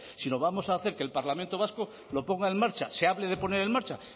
sino vamos a hacer que el parlamento vasco lo ponga en marcha se hable de poner en marcha